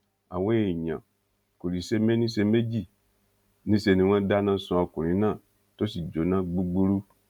àwọn èèyàn kò sì ṣe méní ṣe méjì níṣe ni wọ́n dáná sun ọkùnrin náà tó sì jóná gbúgbúrú